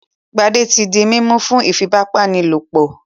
Gbadé ti di mímú fún iìfipábánilòpọ̀.